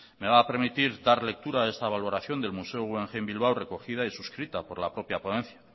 me va a permitir dar lectura a esta valoración del museo guggenheim bilbao recogida y suscrita por la propia ponencia